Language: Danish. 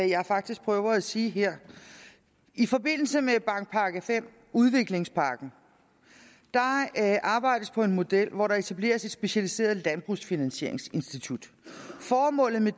jeg faktisk prøver at sige her i forbindelse med bankpakke v udviklingspakken arbejdes der på en model hvor der etableres et specialiseret landbrugsfinansieringsinstitut formålet med